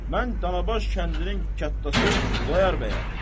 Mən Danabaş kəndinin kətdası Xudayar bəyəm.